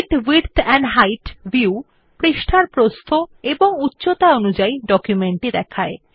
fit width and height view পৃষ্ঠার প্রস্থ ও উচ্চতা অনুসারে ডকুমেন্টটি দেখায়